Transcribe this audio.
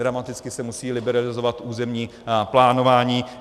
Dramaticky se musí liberalizovat územní plánování.